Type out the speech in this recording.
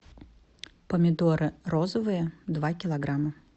помидоры розовые два килограмма